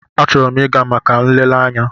Achọrọ m ịga maka nlele anya.